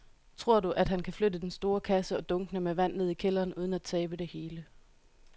Tror du, at han kan flytte den store kasse og dunkene med vand ned i kælderen uden at tabe det hele?